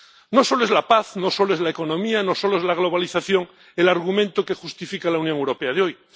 No solo es la paz, no solo es la economía, no solo es la globalización el argumento que justifica la Unión Europea de hoy.